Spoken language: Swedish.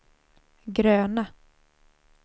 gröna